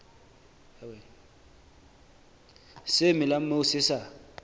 se melang moo se sa